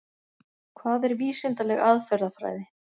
Hvað er vísindaleg aðferðafræði?